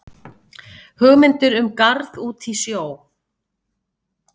Hugmyndir um garð út í sjó